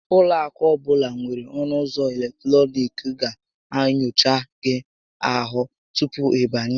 Ụlọ akụ ọbụla nwèrè ọnụ ụzọ eletọnịkị ga enyocha gị ahụ tupu ị banye